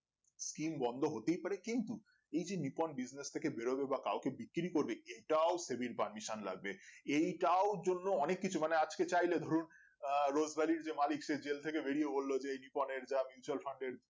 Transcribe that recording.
skim বন্ধ হতেই পারে কিন্তু এই যে নিপন Business থেকে বেরোবে বা কাওকে বিক্রি করবে এটাও permissions লাগবে এইটাও জন্যে অনেক কিছু মানে আজকে চাইলে ধরুন আহ রোজভ্যালির যে মালিক যে জেল থেকে বেরিয়ে বললো যে এই নিপনের দাম mutual Fund র